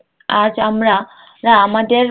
আজ আমরা রা আমাদের